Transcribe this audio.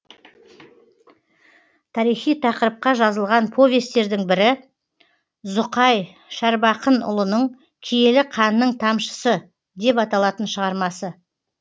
тарихи тақырыпқа жазылған повестердің бірі зұқай шәрбақынұлының киелі қанның тамшысы деп аталатын шығармасы